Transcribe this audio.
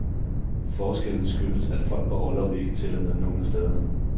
Forskellen skyldes, at folk på orlov ikke tæller med nogen af stederne.